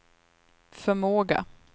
förmåga